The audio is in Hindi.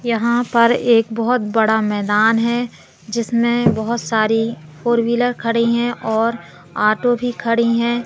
यहां पर एक बहुत बड़ा मैदान है जिसमें बहुत सारी फोर व्हीलर खड़ी हैं और ऑटो भी खड़ी हैं।